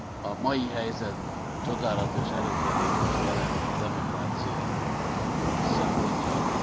a mai helyzet csodálatos előrelépést jelent a demokrácia szempontjából.